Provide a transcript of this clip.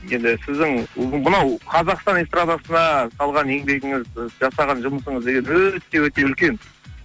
енді сіздің мынау қазақстан эстрадасына салған еңбегіңіз жасаған жұмысыңыз деген өте өте үлкен